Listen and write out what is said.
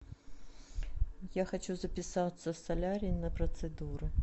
я хочу записаться в солярий на процедуры